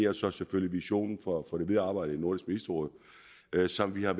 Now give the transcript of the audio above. og så selvfølgelig visionen for det videre arbejde i nordisk ministerråd som vi har